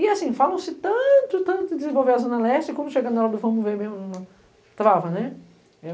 E, assim, falam-se tanto, tanto de desenvolver a Zona Leste, como chegando na hora do vamo ver mesmo, trava, né?